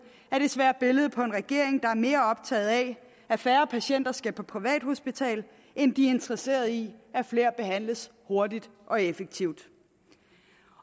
er desværre billedet på en regering der er mere optaget af at færre patienter skal på privathospital end de er interesseret i at flere behandles hurtigt og effektivt